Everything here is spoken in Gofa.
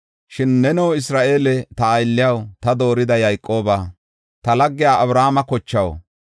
“Shin neno Isra7eele, ta aylliyaw, ta doorida Yayqoobaa, ta laggiya Abrahaame kochaw,